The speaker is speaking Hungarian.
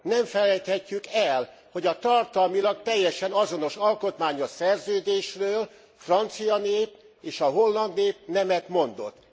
Nem felejthetjük el, hogy a tartalmilag teljesen azonos alkotmányos szerződésről a francia nép és a holland nép nemet mondott.